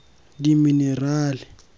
dimenerale